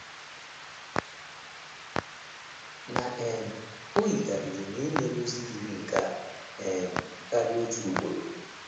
Na um o yikarịrị na e nyela ozi yiri nke a um karịa otu ugboro.